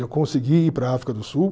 Eu consegui ir para a África do Sul.